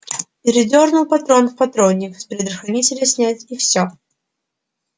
передёрнул патрон в патронник с предохранителя снять и всё